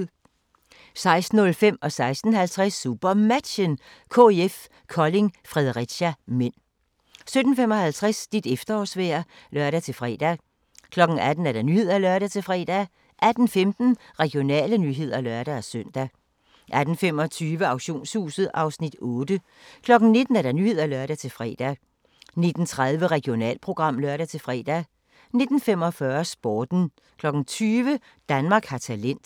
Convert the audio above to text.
16:05: SuperMatchen: KIF Kolding-Fredericia (m) 16:50: SuperMatchen: KIF Kolding-Fredericia (m) 17:55: Dit efterårsvejr (lør-fre) 18:00: Nyhederne (lør-fre) 18:15: Regionale nyheder (lør-søn) 18:25: Auktionshuset (Afs. 8) 19:00: Nyhederne (lør-fre) 19:30: Regionalprogram (lør-fre) 19:45: Sporten 20:00: Danmark har talent